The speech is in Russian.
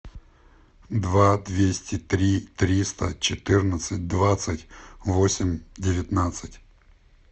два двести три триста четырнадцать двадцать восемь девятнадцать